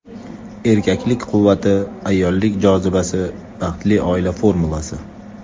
Erkaklik quvvati, ayollik jozibasi – baxtli oila formulasi!